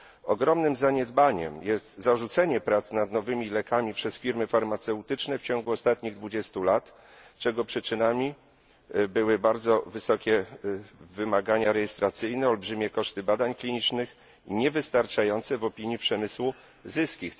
Ogromnym zaniedbaniem jest zarzucenie prac nad nowymi lekami przez firmy farmaceutyczne w ciągu ostatnich 20 lat, co spowodowały bardzo wysokie wymagania rejestracyjne, olbrzymie koszty badań klinicznych i niewystarczające w opinii przemysłu zyski.